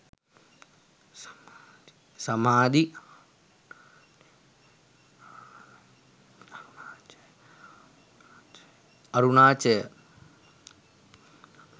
samadhi arunachaya